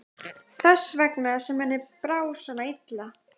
Þess vegna sem henni brá svona illa.